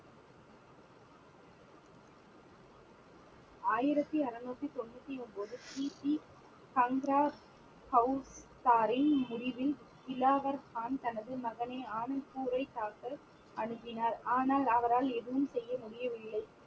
ஆயிரத்தி அறுநூத்தி தொண்ணுத்தி ஒன்பது பிபி முடிவில் கிளாவர் கான் தனது மகனை ஆனந்த்பூரை தாக்க அனுப்பினார் ஆனால் அவரால் எதுவும் செய்ய முடியவில்லை